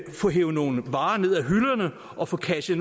få hevet nogle varer ned af hylderne og få kradset